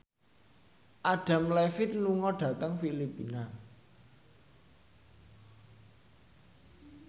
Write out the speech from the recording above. Adam Levine lunga dhateng Filipina